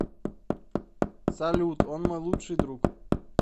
салют он мой лучший друг